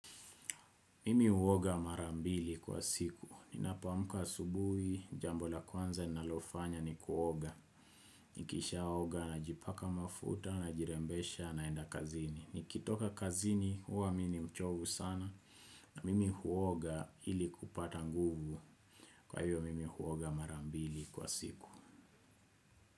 Mimi huoga marambili kwa siku, ninapoamka asubuhi, jambo la kwanza nalofanya ni kuoga, nikisha oga, najipaka mafuta, najirembesha, naenda kazini. Nikitoka kazini, huwa mini mchovu sana, na mimi huoga ili kupata nguvu, kwa hiyvo mimi huoga marambili kwa siku.